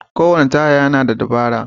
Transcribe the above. Kowane taya yana da dabaran.